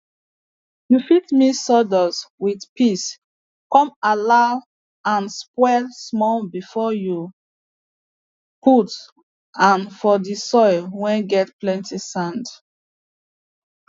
you fit mix sawdust with piss come allow and spoil small before you put and for the soil whey get plenty sand